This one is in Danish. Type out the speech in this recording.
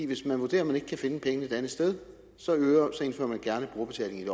hvis man vurderer at man ikke kan finde pengene et andet sted så indfører man gerne brugerbetaling i